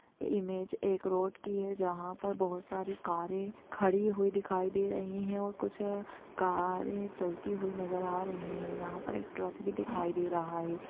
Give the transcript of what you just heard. Image एक road की है जहाँ पर बहुत सारी कारे खड़ी हुई दिखाई दे रही है और कुछ कारे चलती हुई नजर आ रही है यहाँ पर एक ट्रक भी दिखाई दे रहा है।